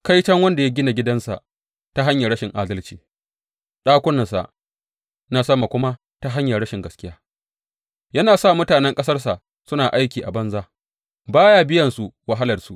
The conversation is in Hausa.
Kaiton wanda ya gina gidansa ta hanyar rashin adalci, ɗakunansa na sama kuma ta hanyar rashin gaskiya, yana sa mutanen ƙasarsa suna aiki a banza ba ya biyansu wahalarsu.